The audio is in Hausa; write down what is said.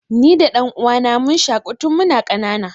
Ni da ɗan'uwana mun shaƙu tun mun ƙanana.